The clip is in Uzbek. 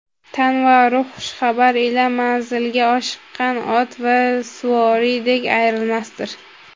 Tan va ruh xushxabar ila manzilga oshiqqan ot va suvoriydek ayrilmasdir.